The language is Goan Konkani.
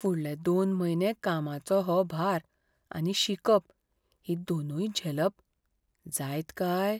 फुडले दोन म्हयने कामाचो हो भार आनी शिकप हीं दोनूय झेलप जायत काय?